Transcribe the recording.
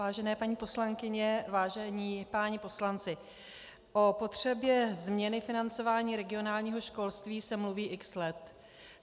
Vážené paní poslankyně, vážení páni poslanci, o potřebě změny financování regionálního školství se mluví x let.